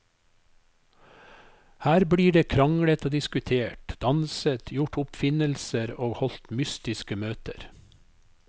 Her blir det kranglet og diskutert, danset, gjort oppfinnelser og holdt mystiske møter.